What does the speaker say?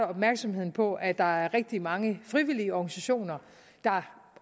opmærksomheden på at der er rigtig mange frivillige organisationer der